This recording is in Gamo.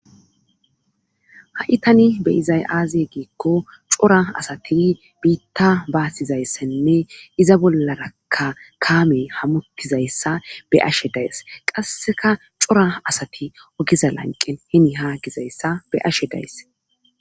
ha7itani beyizay aaziye giikko cora asati biitta baasizayssenne iza bollaraka kaame hamutizayssa be ashe days qasseka cora asati ogiza lanqen hini haa gizayssa be'ashe days